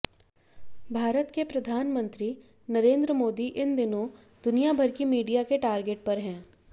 भारत के प्रधानमंत्री नरेन्द्र मोदी इन दिनों दुनिया भर की मीडिया के टारगेट पर हैं